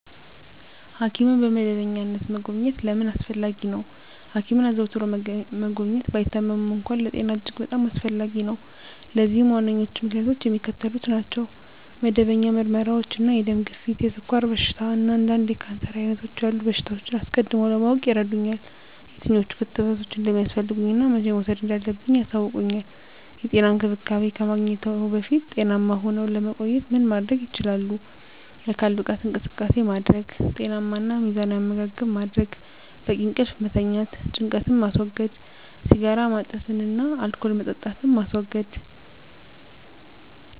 ሐኪምን በመደበኛነት መጎብኘት ለምን አስፈለጊ ነው? ሐኪምን አዘውትሮ መጎብኘት፣ ባይታመሙም እንኳ፣ ለጤና እጅግ በጣም አስፈላጊ ነው። ለዚህም ዋነኞቹ ምክንያቶች የሚከተሉት ናቸው። መደበኛ ምርመራዎች እንደ የደም ግፊት፣ የስኳር በሽታ፣ እና አንዳንድ የካንሰር ዓይነቶች ያሉ በሽታዎችን አስቀድሞ ለማወቅ ይረዱኛል። የትኞቹ ክትባቶች እንደሚያስፈልጉኝ እና መቼ መውሰድ እንዳለብኝ ያሳውቁኛል። *የጤና እንክብካቤ ከማግኘትዎ በፊት ጤናማ ሁነው ለመቆየት ምን ማድረግ ይችላሉ?*የአካል ብቃት እንቅስቃሴ ማድረግ * ጤናማ እና ሚዛናዊ አመጋገብ ማድረግ: * በቂ እንቅልፍ መተኛት * ጭንቀትን ማስወገድ * ሲጋራ ማጨስን እና አልኮል መጠጣትን ማስወገድ: